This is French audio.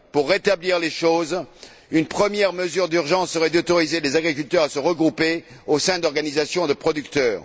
Pour rétablir les choses, une première mesure d'urgence serait d'autoriser les agriculteurs à se regrouper au sein d'organisations de producteurs.